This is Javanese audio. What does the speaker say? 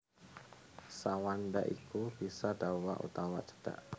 Sa wanda iku bisa dawa utawa cendhak